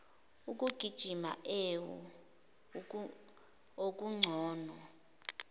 ukugijima ewu okungcono